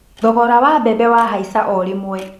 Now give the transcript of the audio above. Thogora wa mbembe wahaica o rĩmwe.